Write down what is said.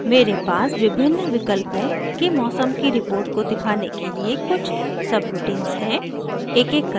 मेरे पास विभिन्न विकल्पों के मौसम की रिपोर्ट को दिखाने के लिय कुछ सबरूटीन्स हैं